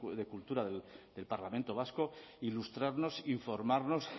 de cultura del parlamento vasco ilustrarnos informarnos